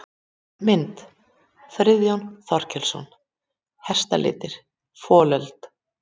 Mynd: Friðþjófur Þorkelsson: Hestalitir- folöld.